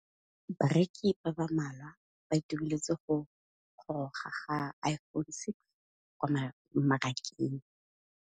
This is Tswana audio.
Bareki ba ba malwa ba ituemeletse go gôrôga ga Iphone6 kwa mmarakeng.